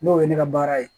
N'o ye ne ka baara ye